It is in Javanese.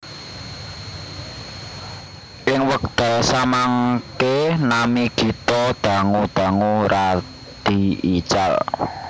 Ing wekdal samangke nami Gito dangu dangu radi ical